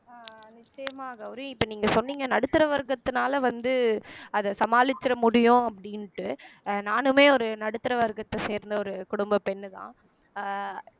அஹ் நிச்சயமாக கௌரி இப்ப நீங்க சொன்னீங்க நடுத்தர வர்க்கத்தினால வந்து அத சமாளிச்சிற முடியும் அப்படின்ட்டு அஹ் நானுமே ஒரு நடுத்தர வர்க்கத்தை சேர்ந்த ஒரு குடும்ப பெண்ணுதான் அஹ்